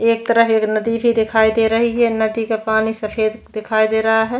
एक तरफ एक नदी भी दिखाई दे रही है नदी का पानी सफेद दिखाई दे रहा है।